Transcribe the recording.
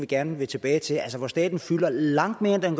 gerne vil tilbage til hvor staten fylder langt mere end den